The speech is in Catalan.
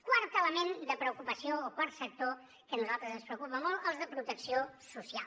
quart element de preocupació o quart sector que a nosaltres ens preocupa molt els de protecció social